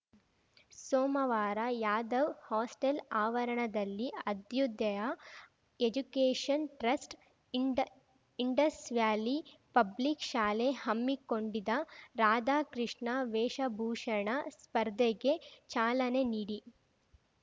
ಸೋಮವಾರ ಯಾದವ್ ಹಾಸ್ಟೆಲ್‌ ಆವರಣದಲ್ಲಿ Abhyudaya education trust ಇಂಡ್ ಇಂಡಸ್‌ ವ್ಯಾಲಿ ಪಬ್ಲಿಕ್‌ ಶಾಲೆ ಹಮ್ಮಿಕೊಂಡಿದ್ದ ರಾಧಾ ಕೃಷ್ಣ ವೇಷಭೂಷಣ ಸ್ಪರ್ಧೆಗೆ ಚಾಲನೆ ನೀಡಿ